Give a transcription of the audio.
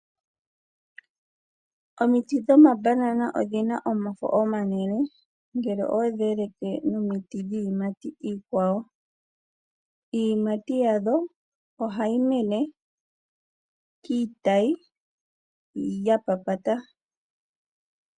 Omiti dhomabanana odhi na omafo omanene ngele oweshi eleke nomiti dhiiyimati iikwawo. Iiyimati yadho ohayi mene kiitayi ya papata.